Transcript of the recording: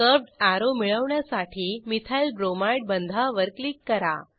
curved arrow मिळवण्यासाठी methyl bromide बंधावर click करा